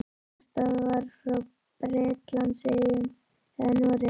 Hvort það var frá Bretlandseyjum eða Noregi.